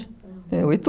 é, oito